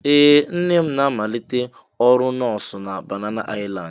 Ee! Nne m na-amalite ọrụ nọọsụ na Banana Island?